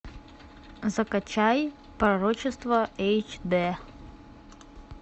закачай пророчество эйч дэ